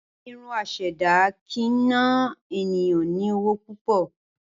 Irun asèdá kii n na eniyan ni owo púpọ̀.